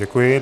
Děkuji.